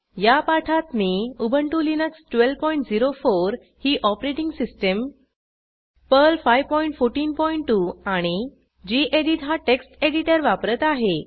या पाठात मी उबंटु लिनक्स 1204 ही ऑपरेटिंग सिस्टीम पर्ल 5142 आणि गेडीत हा टेक्स्ट एडिटर वापरत आहे